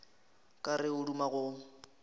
ka re o duma go